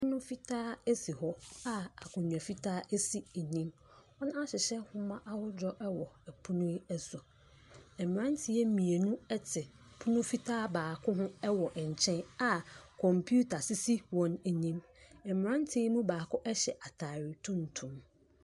Pono fitaa si hɔ a akonnwa fitaa si anim. Wɔahyehyɛ nwoma ahodoɔ wɔ pono yi so. Mmeranteɛ mmienu te pono fitaa baako ho wɔ nkyɛn a computer sisi wɔn anim. Mmeranteɛ no mu baako hyɛ atade tuntum.